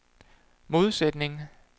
modsætning